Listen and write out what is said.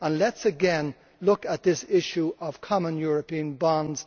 Let us again look at this issue of common European bonds.